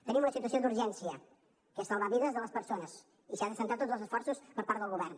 tenim una situació d’urgència que és salvar vides de les persones i s’hi han de centrar tots els esforços per part del govern